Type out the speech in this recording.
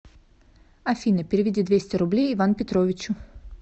афина переведи двести рублей иван петровичу